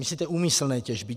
Myslíte úmyslné těžby?